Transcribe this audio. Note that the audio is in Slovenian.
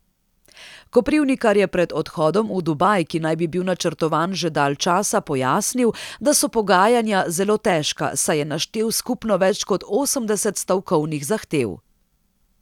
Koprivnikar je pred odhodom v Dubaj, ki naj bi bil načrtovan že dalj časa, pojasnil, da so pogajanja zelo težka, saj je naštel skupno več kot osemdeset stavkovnih zahtev.